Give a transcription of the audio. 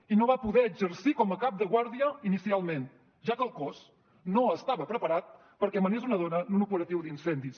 i no va poder exercir com a cap de guàrdia inicial ja que el cos no estava preparat perquè manés una dona en un operatiu d’incendis